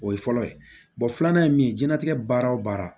O ye fɔlɔ ye filanan ye min ye jiyɛn latigɛ baara o baara